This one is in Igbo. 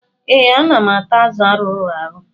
Ee, ana m ata azụ arụrụ arụ.